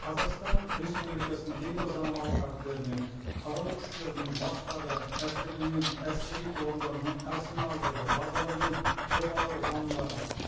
қазақстан республикасының кейбір заңнамалық актілеріне қарулы күштердің басқа да әскерлер мен әскери құрылымдарының арсеналдарды базалары мен қоймалар жанындағы